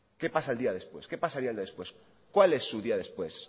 qué pasa el día después qué pasaría el día después cuál es su día después